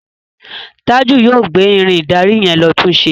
Taju yóò gbé Irin ìdarí yen ló tunṣe.